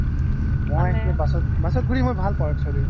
মই bus ঘুৰি ভাল পাও actually